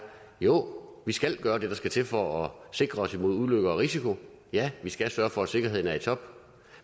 jo vi skal gøre det der skal til for at sikre os imod ulykker og risici ja vi skal sørge for at sikkerheden er i top